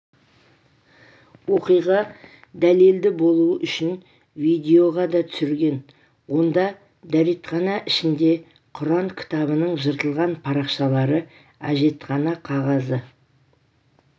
оқиға дәлелді болуы үшін видеоға да түсірген онда дәретхана ішінде құран кітабының жыртылған парақшалары әжетхана қағазы